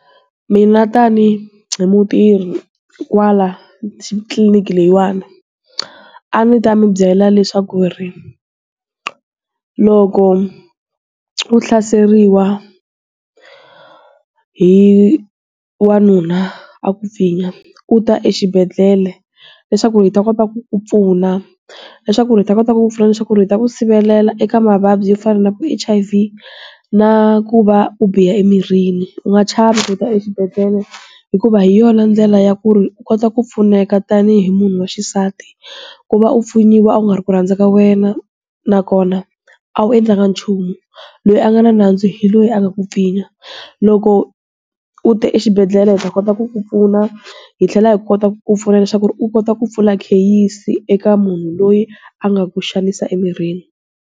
Mina tanihi mutirhi kwala tliliniki leyiwani. A ndzi ta mi byela leswaku ri, loko, u hlaseriwa, hi, wanuna a ku pfinyiwa, u ta exibedele, leswaku hi ta kota ku pfuna. Leswaku hi ta kota ku pfuna leswaku ri ta ku sirhelela eka mavabyi yo fana na vu H_I_V, na ku va u biha emirhini. U nga chavi ku ta exibedhlele hikuva hi yona ndlela ya ku ri u kota ku pfuneka tanihi munhu wa xisati. Ku va u pfinyiwa a nga ri ku rhandzaka wena, nakona, a wu endlaka nchumu. Loyi a nga na nandzu hi loyi a nga ku pfinyiwa. Loko, u te exibedhlele hi ta kota ku ku pfuna, hi tlhela hi kota ku pfuna leswaku ri u kota ku pfula kheyisi eka munhu loyi a nga ku xanisa emirini.